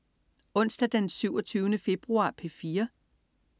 Onsdag den 27. februar - P4: